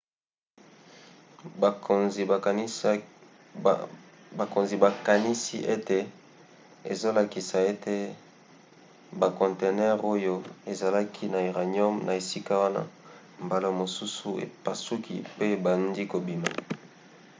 bakonzi bakanisi ete ezolakisa ete bakontenere oyo ezalaki na uranium na esika wana mbala mosusu epasuki pe ebandi kobima